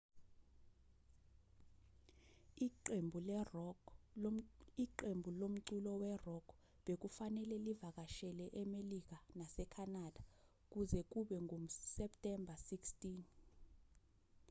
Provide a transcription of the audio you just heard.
iqembu lomculo we-rock bekufanele livakashele emelika nasekhanada kuze kube nguseptemba 16